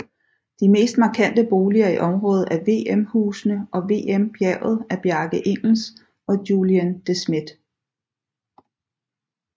De mest markante boliger i området er VM Husene og VM Bjerget af Bjarke Ingels og Julien De Smedt